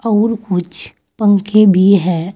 और कुछ पंखे भी हैं।